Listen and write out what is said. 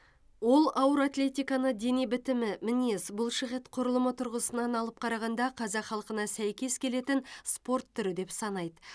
ол ауыр атлетиканы дене бітімі мінез бұлшықет құрылымы тұрғысынан алып қарағанда қазақ халқына сәйкес келетін спорт түрі деп санайды